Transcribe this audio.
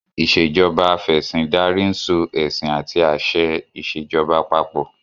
Ìṣèjoba Af'ẹ̀sìndarí ń so ẹ̀sìn àti àṣẹ ìṣèjoba papọ̀